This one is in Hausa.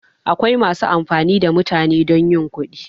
Akwai masu amfani da mutane don yin kudi